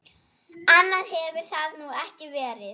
Annað hefur það nú ekki verið.